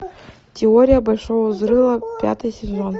теория большого взрыва пятый сезон